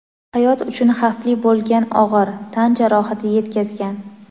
"hayot uchun xavfli bo‘lgan og‘ir" tan jarohati yetkazgan.